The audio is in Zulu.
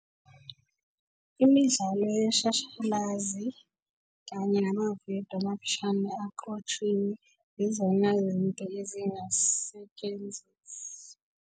Imidlalo yeshashalazi kanye namavidiyo amafishane aqotshiwe yizona izinto ezingasetshenziswa.